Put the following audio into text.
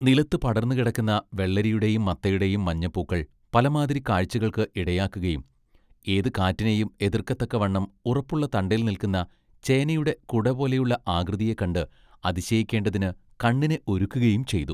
നിലത്തു പടർന്നു കിടന്ന വെള്ളരിയുടെയും മത്തയുടെയും മഞ്ഞപ്പൂക്കൾ പല മാതിരി കാഴ്ചകൾക്ക് ഇടയാക്കുകയും ഏതു കാറ്റിനെയും എതൃക്കത്തക്കവണ്ണം ഉറപ്പുള്ള തണ്ടേൽ നില്ക്കുന്ന ചേനയുടെ കുടപോലെയുള്ള ആകൃതിയെ കണ്ട് അതിശയിക്കേണ്ടതിന് കണ്ണിനെ ഒരുക്കുകയും ചെയ്തു.